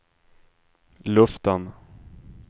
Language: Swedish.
luften